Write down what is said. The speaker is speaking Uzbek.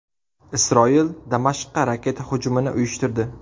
Isroil Damashqqa raketa hujumini uyushtirdi.